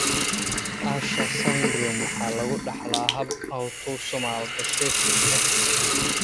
Usher syndrome waxaa lagu dhaxlaa hab autosomal recessive ah.